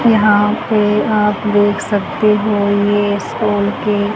यहां पे आप देख सकते हो ये स्कूल के--